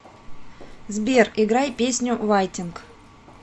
сбер играй песню вайтинг